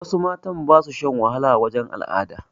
Wasu matan ba su shan wahala wajen al'ada